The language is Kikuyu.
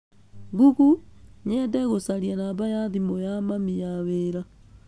Google, nyende gũcaria namba ya thimũ ya mami ya wĩra